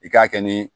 I k'a kɛ ni